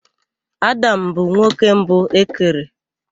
Adam bụ nwoke mbụ e kere.